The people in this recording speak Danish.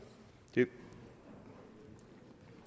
eller